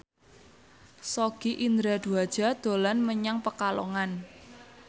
Sogi Indra Duaja dolan menyang Pekalongan